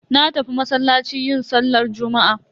Na tafi masallaci yin sallar juma'a.